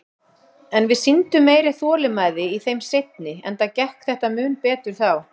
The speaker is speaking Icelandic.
En við sýndum meiri þolinmæði í þeim seinni, enda gekk þetta mun betur þá.